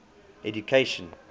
education